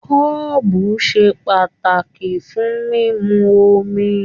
Kọ́ọ́bú se pàtàkì fún mímú omi.